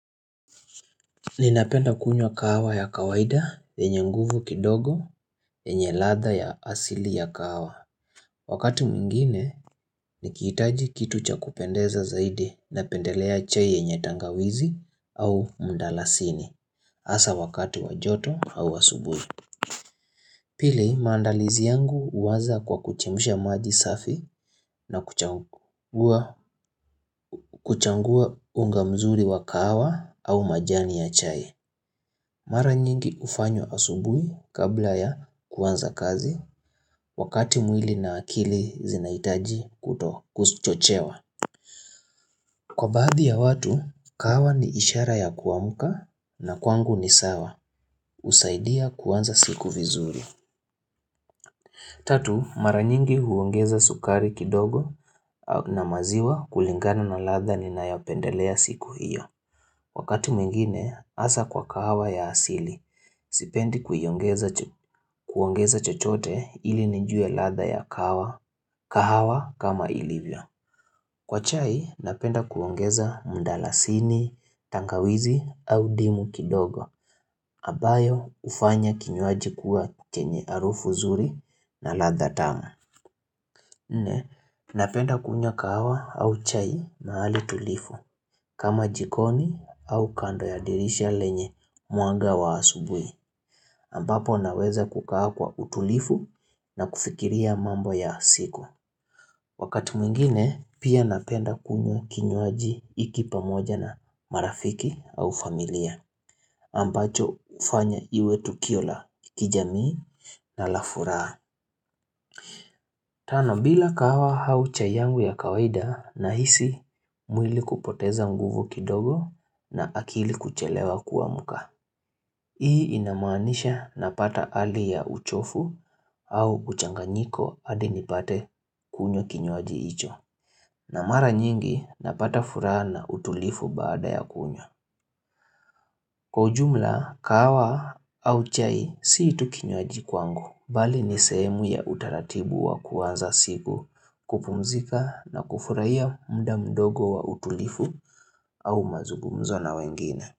Ninapenda kunywa kahawa ya kawaida yenye nguvu kidogo yenye ladha ya asili ya kahawa. Wakati mwingine nikihitaji kitu cha kupendeza zaidi napendelea chai yenye tangawizi au mdalasini hasa wakati wa joto au asubuhi. Pili, maandalizi yangu huanza kwa kuchemsha maji safi na kuchangua unga mzuri wa kahawa au majani ya chai. Mara nyingi hufanywa asubuhi kabla ya kuanza kazi wakati mwili na akili zinahitaji kuto kuchochewa. Kwa baadhi ya watu, kahawa ni ishara ya kuamka na kwangu ni sawa. Husaidia kuanza siku vizuri. Tatu, mara nyingi huongeza sukari kidogo na maziwa kulingana na ladha ninayopendelea siku hiyo. Wakati mwingine, hasa kwa kahawa ya asili, sipendi kuiongeza chochote ili nijue ladha ya kahawa kama ilivyo. Kwa chai, napenda kuongeza mdalasini, tangawizi au ndimu kidogo, ambayo hufanya kinywaji kuwa chenye harufu nzuri na ladha tamu. Nne napenda kunywa kahawa au chai na hali tulivu kama jikoni au kando ya dirisha lenye mwanga wa asubuhi ambapo naweza kukaa kwa utulivu na kufikiria mambo ya siku. Wakati mwingine pia napenda kunywa kinywaji hiki pamoja na marafiki au familia ambacho hufanya iwe tukio la kijamii na la furaha. Tano, bila kahawa au chai yangu ya kawaida nahisi mwili kupoteza nguvu kidogo na akili kuchelewa kuamka. Hii inamanisha napata hali ya uchovu au kuchanganyiko hadi nipate kunywa kinywaji hicho. Na mara nyingi napata furaha na utulivu baada ya kunywa. Kwa ujumla, kahawa au chai sii tu kinywaji kwangu, bali ni sehemu ya utaratibu wa kuwanza siku kupumzika na kufurahia muda mdogo wa utulivu au mazungumzo na wengine.